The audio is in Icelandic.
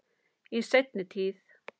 Í seinni tíð.